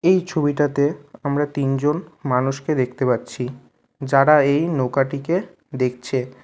এই ছবিটাতে আমরা তিনজন মানুষকে দেখতে পাচ্ছি যারা এই নৌকাটিকে দেখছে।